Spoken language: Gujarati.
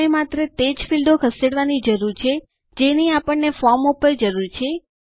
આપણે માત્ર તે જ ફીલ્ડો ખસેડવા ની જરૂર છે જેની આપણને ફોર્મ ઉપર જરૂર છે